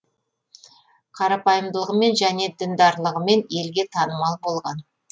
қарапайымдылығымен және діндарлығымен елге танымал болған